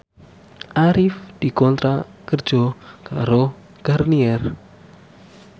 Arif dikontrak kerja karo Garnier